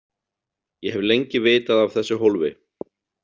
Ég hef lengi vitað af þessu hólfi.